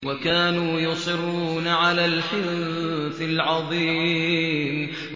وَكَانُوا يُصِرُّونَ عَلَى الْحِنثِ الْعَظِيمِ